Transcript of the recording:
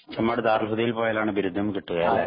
ചെമ്മാട് ദാറുല്‍ ഹുദയില്‍ പോയാലാണ് ബിരുദം കിട്ടുക അല്ലേ.